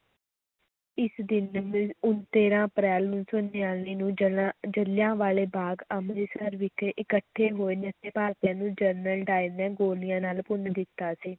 ਇਸ ਦਿਨ ਤੇਰਾਂ ਅਪ੍ਰੈਲ ਉੱਨੀ ਸੌ ਨੜ੍ਹਿਨਵੇਂ ਨੂੰ ਜ਼ਿਲ੍ਹਿਆਂ ਵਾਲੇ ਬਾਗ਼ ਅੰਮ੍ਰਿਤਸਰ ਵਿਖੇ ਇਕੱਠੇ ਹੋਏ ਨਿਹੱਥੇ ਭਾਰਤੀਆਂ ਨੂੰ ਜਨਰਲ ਡਾਇਰ ਨੇ ਗੋਲੀਆਂ ਨਾਲ ਭੁੰਨ ਦਿੱਤਾ ਸੀ